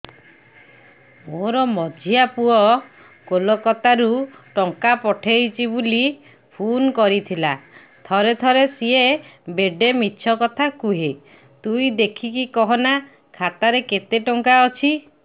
ମୋର ମଝିଆ ପୁଅ କୋଲକତା ରୁ ଟଙ୍କା ପଠେଇଚି ବୁଲି ଫୁନ କରିଥିଲା ଥରେ ଥରେ ସିଏ ବେଡେ ମିଛ କଥା କୁହେ ତୁଇ ଦେଖିକି କହନା ଖାତାରେ କେତ ଟଙ୍କା ଅଛି